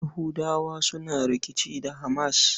Yahudawa suna rikici da HAMAS.